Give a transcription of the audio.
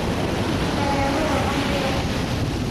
Ihinda rĩa gũthoma nĩrĩakinya